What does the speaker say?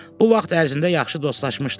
Bu vaxt ərzində yaxşı dostlaşmışdılar.